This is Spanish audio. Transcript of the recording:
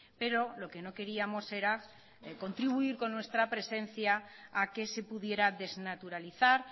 pero lo que no queríamos era contribuir con nuestra presencia a que se pudiera desnaturalizar